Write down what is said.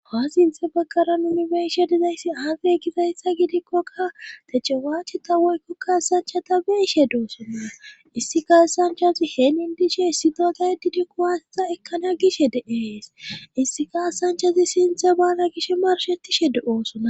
aa sinthe baggara unibeishe dizayssi aafe gizayssa gidikkoka tache waache ta woykkokkaasanchata beishe doosonna issi kaassanchazi heenin dishe issi dooda didikku waasita ekkana gish de7ees issi kaasanchazi sinthe baana gish marshetishe de7oosona